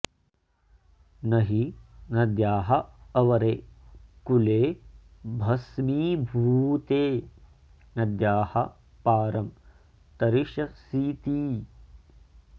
नहि नद्याः अवरे कूले भस्मीभूते नद्याः पारं तरिष्यसीति